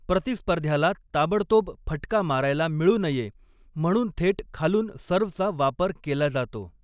प्रतिस्पर्ध्याला ताबडतोब फटका मारायला मिळू नये म्हणून थेट खालून सर्व्हचा वापर केला जातो.